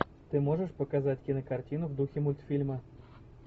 ты можешь показать кинокартину в духе мультфильма